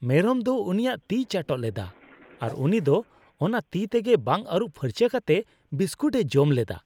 ᱢᱮᱨᱚᱢ ᱫᱚ ᱩᱱᱤᱭᱟᱜ ᱛᱤᱭ ᱪᱟᱴᱚᱜ ᱞᱮᱫᱟ, ᱟᱨ ᱩᱱᱤ ᱫᱚ ᱚᱱᱟ ᱛᱤ ᱛᱮᱜᱮ ᱵᱟᱝ ᱟᱨᱩᱵ ᱯᱷᱟᱨᱪᱟ ᱠᱟᱛᱮ ᱵᱤᱥᱠᱩᱴ ᱮ ᱡᱚᱢ ᱞᱮᱫᱟ ᱾